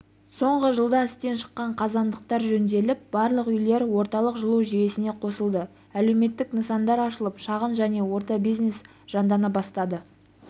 соңғы жылда істен шыққан қазандықтар жөнделіп барлық үйлер орталық жылу жүйесіне қосылды әлеуметтік нысандар ашылып шағын және орта бизнес жандана бастады